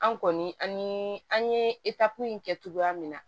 An kɔni an ye an ye in kɛ cogoya min na